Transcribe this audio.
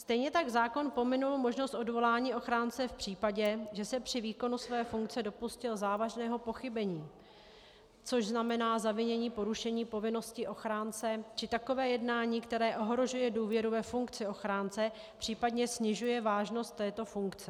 Stejně tak zákon pominul možnost odvolání ochránce v případě, že se při výkonu své funkce dopustil závažného pochybení, což znamená zavinění porušení povinnosti ochránce či takové jednání, které ohrožuje důvěru ve funkci ochránce, případně snižuje vážnost této funkce.